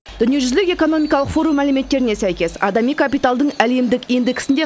дүниежүзілік экономикалық форум мәліметтеріне сәйкес адами капиталдың әлемдік индексінде